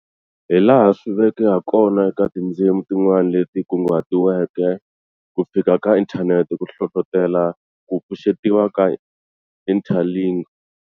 Hilaha swi veke hakona eka tindzimi tin'wana leti kunguhatiweke, ku fika ka Internet ku hlohlotele ku pfuxetiwa ka Interlingue.